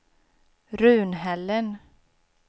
Runhällen